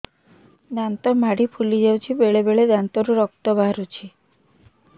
ଦାନ୍ତ ମାଢ଼ି ଫୁଲି ଯାଉଛି ବେଳେବେଳେ ଦାନ୍ତରୁ ରକ୍ତ ବାହାରୁଛି